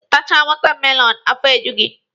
Ị tachaa wọtamelọnụ, afọ eju gị.